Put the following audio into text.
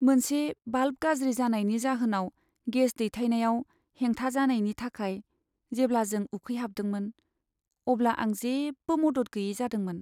मोनसे भाल्भ गाज्रि जानायनि जाहोनाव गेस दैथायनायाव हेंथा जानायनि थाखाय जेब्ला जों उखैहाबदोंमोन, अब्ला आं जेबो मदद गैयै जादोंमोन।